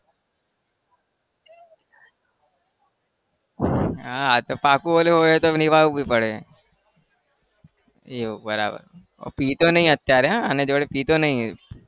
પાક્કું એવું હોય તો નિભાવવુંએ પડે એવું બરાબર પીતો નહિ અત્યારે અને જોડે પીતો નહિ.